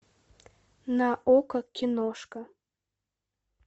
на окко киношка